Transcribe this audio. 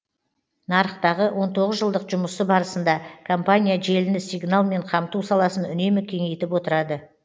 нарықтағы он тоғыз жылдық жұмысы барысында компания желіні сигналмен қамту саласын үнемі кеңейтіп отырады